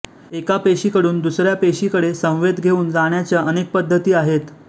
एका पेशीकडून दुसऱ्या पेशीकडे संवेद घेऊन जाण्याच्या अनेक पद्धती आहेत